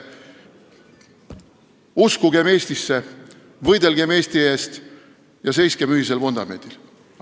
Uskugem Eestisse, võidelgem Eesti eest ja seiskem ühisel vundamendil!